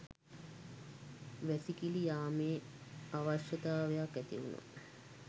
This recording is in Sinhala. වැසිකිලි යාමේ අවශ්‍යතාවයක් ඇතිවුනා